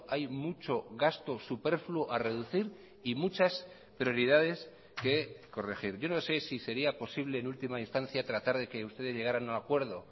hay mucho gasto superfluo a reducir y muchas prioridades que corregir yo no sé si sería posible en última instancia tratar de que ustedes llegaran a un acuerdo